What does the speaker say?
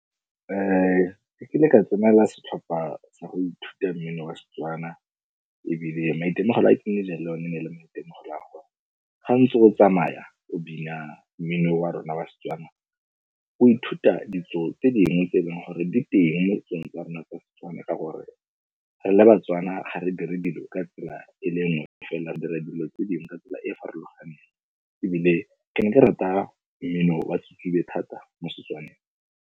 Ke kile ka tsenela setlhopha sa go ithuta mmino wa Setswana ebile maitemogelo a ke nnileng le one ne e le maitemogelo a go ga ntse o tsamaya o bina mmino wa rona wa Setswana, o ithuta ditso tse dingwe tse e leng gore di teng mo setsong tsa rona ka tsone ka gore re le Batswana ga re dire dilo ka tsela e le nngwe, feela re dira dilo tse dingwe ka tsela e e farologaneng ebile ke ne ke rata mmino wa thata mo Setswaneng.